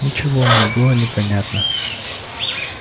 ничего мне было не понятно